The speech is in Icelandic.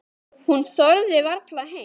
Hún þorði varla heim.